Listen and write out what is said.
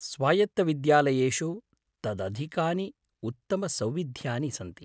स्वायत्तविद्यालयेषु तदधिकानि उत्तमसौविध्यानि सन्ति।